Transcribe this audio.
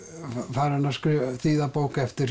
farinn að þýða bók eftir